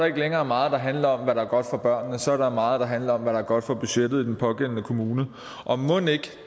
ikke længere meget der handler om hvad der er godt for børnene så er der meget der handler om hvad der er godt for budgettet i den pågældende kommune og mon ikke at